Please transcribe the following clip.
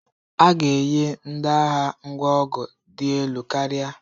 A ga-enye ndị agha ngwa ọgụ dị elu karịa.